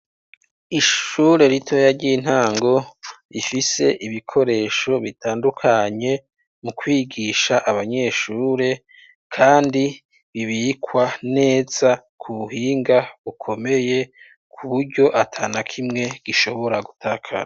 Ishure ritoya ry'intango rifise ibikoresho bitandukanye mu kwigisha abanyeshure kandi bibikwa neza ku buhinga bukomeye ku buryo atanakimwe gishobora gutakara.